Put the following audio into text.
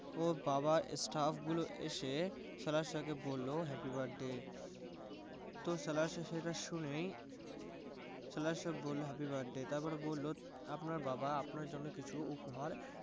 উফ বাবা staff গুলো এসে সাহেবকে বললো happy birthday তো সাহেব সেটা শুনেই সাহেব বললো happy birthday তারপর বললো আপনার বাবা আপনার জন্য কিছু উপহার